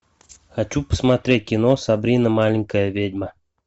хочу посмотреть кино сабрина маленькая ведьма